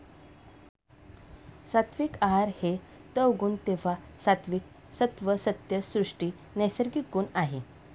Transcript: सात्विक आहार हे तवगुण तेव्हा सात्विक सत्व सत्य सृष्टी नैसर्गिक गुण आहे